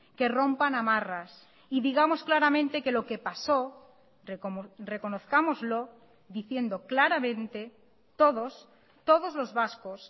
que rompan amarras y digamos claramente que lo que pasó reconozcámoslo diciendo claramente todos todos los vascos